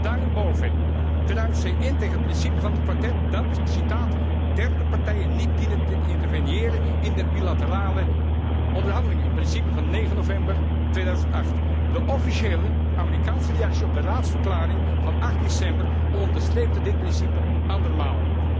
Daarenboven druist zij in tegen het principe van het Kwartet dat derde partijen niet dienen te interveniëren in de bilaterale onderhandelingen, een principe van 9 november 2008. De officiële Amerikaanse reactie op de Raadsverklaring van 8 december onderstreepte dit principe andermaal.